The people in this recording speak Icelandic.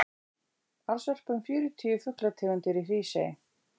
alls verpa um fjörutíu fuglategundir í hrísey